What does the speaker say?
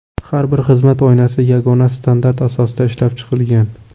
Har bir xizmat oynasi yagona standart asosida ishlab chiqilgan.